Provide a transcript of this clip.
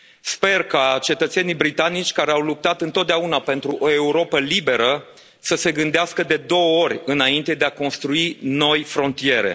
Sper ca cetățenii britanici care au luptat întotdeauna pentru o Europă liberă să se gândească de două ori înainte de a construi noi frontiere.